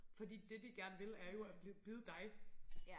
Fordi det de gerne vil er jo at bide dig